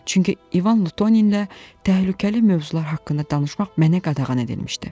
Çünki İvan Lutoninlə təhlükəli mövzular haqqında danışmaq mənə qadağan edilmişdi.